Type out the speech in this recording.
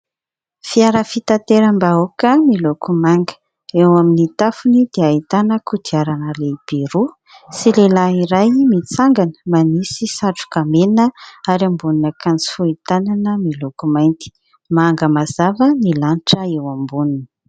Fiara fitateram-bahoaka miloko manga. Eo amin'ny tafony dia ahitana kodiarana lehibe roa sy lehilahy iray mitsangana, manisy satroka mena ary ambonin'akanjo fohy tanana miloko mainty. Manga mazava ny lanitra eo amboniny.